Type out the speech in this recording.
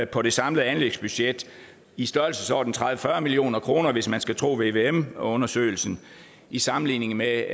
på det samlede anlægsbudget i størrelsesordenen tredive til fyrre million kr hvis man skal tro vvm undersøgelsen i sammenligning med